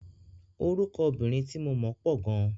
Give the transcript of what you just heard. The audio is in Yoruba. Orúkọ obìnrin tí mo mọ̀ pọ̀ gan.